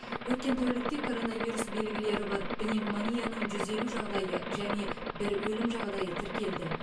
өткен тәулікте коронавирус белгілері бар пневмонияның жүз елу жағдайы және бір өлім жағдайы тіркелді